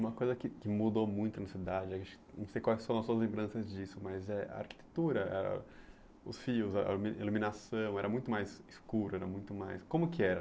Uma coisa que que mudou muito na cidade, aí não sei quais que são as suas lembranças disso, mas eh a arquitetura, ãh os fios, a ilu iluminação, era muito mais escuro, era muito mais... Como que era?